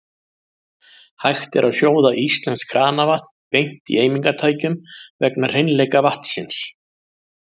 Hægt er að sjóða íslenskt kranavatn beint í eimingartækjum vegna hreinleika vatnsins.